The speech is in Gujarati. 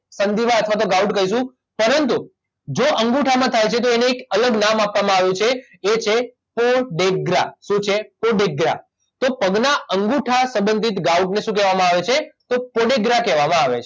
સંધિવા અથવા ગાઉટ કહીશું પરંતુ જો અંગૂઠામાં થાય છે તો એને એક અલગ નામ આપવામાં આવ્યું છે એ છે પો ડે ગ્રા શું છે પો ડેગ્રા તો પગના અંગૂઠા સંબંધિત ગાઉટને શું કહેવામાં આવે છે તો પોડેગ્રા કહેવામાં આવે છે